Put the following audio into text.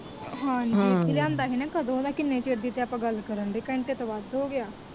ਹਾਂਜੀ ਇਥੇ ਲਿਆਂਦਾ ਸੀ ਕਦੋ ਦਾ ਕੀਨੇ ਚਿਰ ਦੀ ਤੇ ਆਪਾ ਗੱਲ ਕਰਦੇ ਕੰਟੈ ਤੋਂ ਉਪਰ ਹੋਗਿਆ